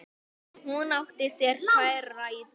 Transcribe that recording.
Hún átti sér tvær rætur.